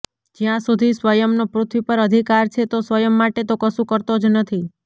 જ્યાં સુધી સ્વયંનો પૃથ્વી પર અધિકાર છે તો સ્વયં માટે તો કશું કરતો જ નથી